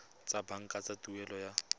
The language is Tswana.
tsa banka tsa tuelo ya